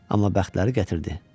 Amma bəxtləri gətirdi.